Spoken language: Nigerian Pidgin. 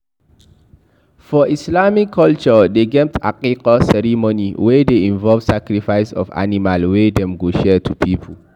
For islamic culture dem get Aqiqah ceremony wey de involve sacrifice of animal wey dem go share to pipo